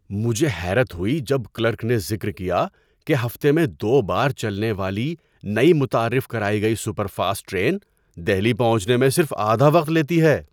مجھے حیرت ہوئی جب کلرک نے ذکر کیا کہ ہفتے میں دو بار چلنے والی، نئی متعارف کرائی گئی سپر فاسٹ ٹرین دہلی پہنچنے میں صرف آدھا وقت لیتی ہے!